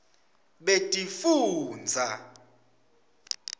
betifundza